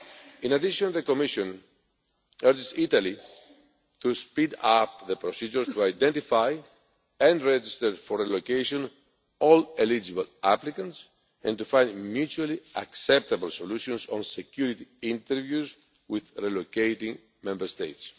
In addition, the Commission urges Italy to speed up the procedures to identify and register for relocation all eligible applicants and to find mutually acceptable solutions on security interviews with relocating Member States.